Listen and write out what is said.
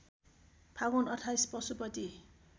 Phagun २८ Pashupati